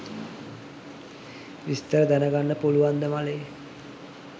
විස්තර දනගන්න පුලුවන්ද මලේ